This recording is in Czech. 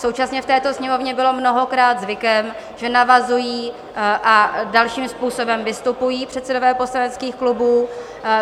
Současně v této sněmovně bylo mnohokrát zvykem, že navazují a dalším způsobem vystupují předsedové poslaneckých klubů.